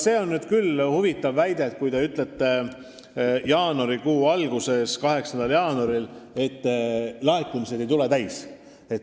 See on nüüd küll huvitav väide, kui te ütlete jaanuarikuu alguses, 8. jaanuaril, et laekumised ei tule täis.